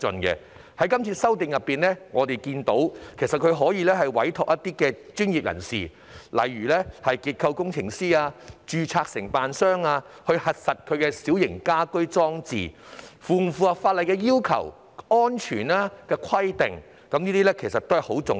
這次修例後，市民可委託專業人士，例如結構工程師或註冊承建商，核實其小型家居裝置是否符合法例要求的安全規定，這點很重要。